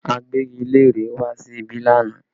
Agbẹ́gilére wá sí ibí lánàá